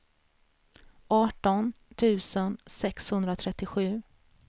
arton tusen sexhundratrettiosju